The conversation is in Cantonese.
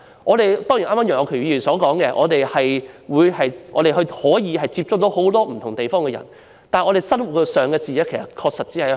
正如楊岳橋議員剛才所說，我們可以接觸到很多不同地方的人，但我們的視野確實局限於香港。